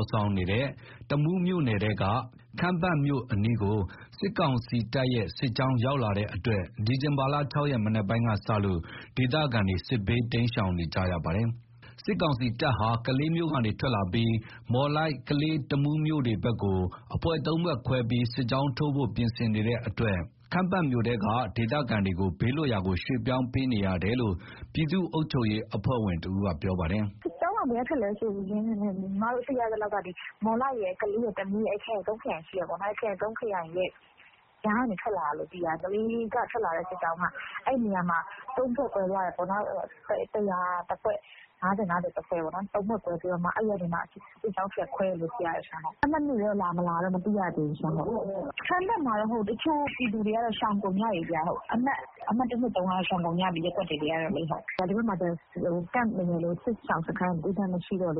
ာ်ဆောင်နေတဲ့ တမူးမြို့နယ်ထဲက ခမ်းပတ်မြို့အနီးကို စစ်ကောင်စီတပ်ရဲ့ စစ်ကြောင်းရောက်လာတဲ့အတွက် ဒီဇင်ဘာ ၆ ရက် မနက်ပိုင်းကစလို့ ဒေသခံတွေ စစ်ဘေးတိမ်းရှောင်နေကြတာပါ။ စစ်ကောင်စီတပ်ဟာ ကလေးမြို့ကထွက်လာပြီး မော်လိုက်-ကလေး တမူး မြို့တွေဘက်ကို အဖွဲ့ ၃ ဖွဲ့ခွဲပြီး စစ်ကြောင်းထိုးဖို့ ပြင်ဆင်နေတဲ့အတွက် ခမ်းပတ်မြို့ထဲက ဒေသခံတွေကို ဘေးလွတ်ရာရွှေ့ပြောင်းပေးနေတာလို့ ပြည်သူ့အုပ်ချုပ်ရေးအဖွဲ့ဝင်တဦးက ပြောပါတယ်။ “စစ်ကြောင်းက ဘယ်ကထွက်လဲဆိုရင် သိရသလောက်က မော်လိုက် ကလေး တမူး အဲ့ခရိုင် ၃ ခရိုင်ရှိတယ်ပေါ့နော်။ အဲ့ခရိုင် ၃ ခရိုင်ကြားကိုထွက်လာတယ်။ ကလေးကနေထွက်လာတဲ့စစ်ကြောင်းက အဲ့နေရာမှာ ၃ ဖွဲ့ကွဲသွားတယ်။ ၁၀၀ တဖွဲ့၊ ၅၀-၅၀ တဖွဲ့ပေါ့နော်။ ၃ ဖွဲ့ခွဲပြီးမှ အဲ့ကနေ စစ်ကြောင်း ပြန်ခွဲတယ်လို့ သိရတယ်။ ခမ်းပတ်မြို့ထဲကို လာမလာတော့ မသိရသေးဘူး။ ခမ်းပတ်မှာတော့ တချို့ပြည်သူတွေက ရှောင်ကုန်ကြပြီ။ အမှတ် ၁ -၂ - ၃ ကတော့ရှောင်ကုန်ကြပြီ။ ဒီဘက်မှာက စစ်ရှောင်စခန်းရယ်လို့ သတ်သတ်မှတ်မှတ်မရှိတော့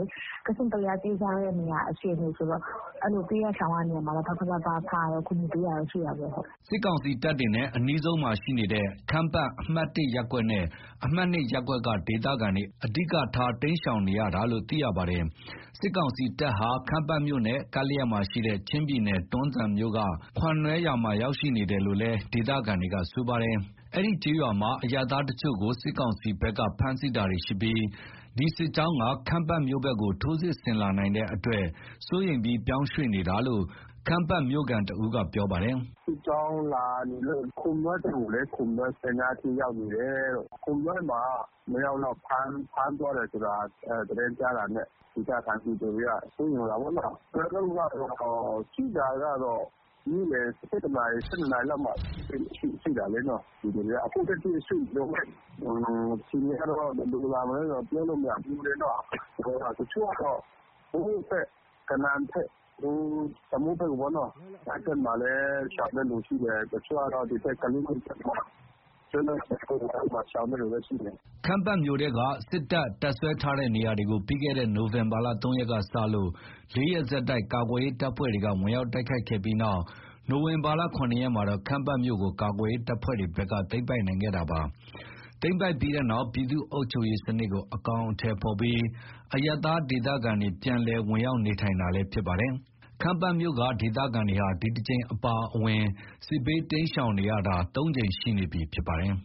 ကစဉ့်ကလျား ပြေးကြရတဲ့အခြေအနေဆိုတော့ အဲ့လို ပြေးကြ ရှောင်ကြတာကို ပလဖ - ပအဖ က ကူညီပေးနေတာတော့ရှိတာပေါ့။” စစ်ကောင်စီတပ်တွေနဲ့အနီးဆုံးမှာရှိနေတဲ့ ခမ်းပတ် အမှတ် ရပ်ကွက်နဲ့ အမှတ် ရပ်ကွက်က ဒေသခံတွေ အဓိက တိမ်းရှောင်ကြရတာလို့ သိရပါတယ်။ စစ်ကောင်စီတပ်ဟာ ခမ်းပတ်မြို့နဲ့ ကပ်လျက်မှာရှိတဲ့ ချင်းပြည်နယ် တွမ်းဇန်မြို့က ခွမ်နွဲရွာမှာ ရောက်ရှိနေတယ်လို့လည်း ဒေသခံတွေက ဆိုပါတယ်။ အဲ့ဒီကျေးရွာမှာ အရပ်သားတချို့ကို စစ်ကောင်စီဘက်က ဖမ်းဆီးတာတွေရှိပြီး ဒီစစ်ကြောင်းက ခမ်းပတ်မြို့ဘက်ကို စစ်ဆင်လာနိုင်တဲ့အတွက် စိုးရိမ်ပြီး ပြောင်းရွှေ့နေတာလို့ ခမ်းပတ်မြို့ ဒေသခံတဦးက ပြောပါတယ်။ “စစ်ကြောင်းလာနေတယ်လို့ ကြားလို့ပေါ့။ ခွမ်နွဲကျေးရွာ အဲ့နားအထိ ရောက်နေတယ်လို့ ခွမ်နွဲမှာ သူတို့က ၂ ယောက်လောက် ဖမ်းသွားတယ်ဆိုတာ သတင်းတွေ ဘာတွေကြားတော့ သတင်းကြားတာနဲ့ ဒေသခံတွေက စိုးရိမ်နေတာပေါ့နော်။ ကျနော်တို့ပြေးတာ နေ့လယ် ၁၁ နာရီ ၁၂ နာရီ လောက်က ရွှေ့တာပေါ့နော်။ အခုထက်ထိ ရွှေ့နေတုန်းပဲ။ အခြေအနေကတော့ ဘယ်လိုလာမလဲဆိုတာ ပြောမရဘူးလေနော်။ တချို့ကတော့ ကနန် - တမူးဘက် ရှောင်တဲ့လူရှိတယ်။ တချို့က ကလေးဘက်ကို ရှောင်တဲ့သူရှိတယ်။” ခမ်းပတ်မြို့ထဲက စစ်တပ် တပ်စွဲထားတဲ့နေရာတွေကို ပြီးခဲ့တဲ့ နိုဝင်ဘာ ၃ ရက်ကစလို့ ၄ ရက်ဆက်တိုက် ကာကွယ်ရေး တပ်ဖွဲ့တွေက ဝင်ရောက်တိုက်ခိုက်ခဲ့ပြီးတဲ့နောက် နိုဝင်ဘာ ၇ ရက်မှာတော့ ခမ်းပတ်မြို့ကို ကာကွယ်ရေးတပ်ဖွဲ့တွေဘက်က သိမ်းပိုက်နိုင်ခဲ့တာပါ။ သိမ်းပိုက်ပြီးတဲ့နောက် ပြည်သူ့အုပ်ချုပ်ရေးစနစ်ကို အကောင်အထည်ဖော်ပြီး အရပ်သားဒေသခံတွေ ပြန်လည် ဝင်ရောက်နေထိုင်နေတာလည်း ဖြစ်ပါတယ်။ ခမ်းပတ်မြို့က ဒေသခံတွေဟာ ဒီတကြိမ်အပါအဝင် စစ်ဘေးရှောင်ရတာ ၃ ကြိမ်ရှိနေပြီလည်းဖြစ်ပါတယ်။